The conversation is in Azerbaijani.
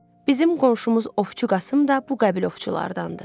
Bizim qonşumuz Ovçu Qasım da bu qəbil ovçulardandır.